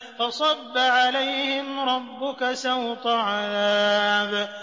فَصَبَّ عَلَيْهِمْ رَبُّكَ سَوْطَ عَذَابٍ